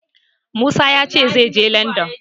Musa ya ce zai je Landan.